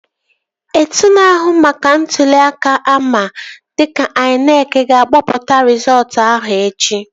Otu na-ahụ maka ntụli aka ama dịka INEC ga-akpọpụta rizọọtu ahụ echi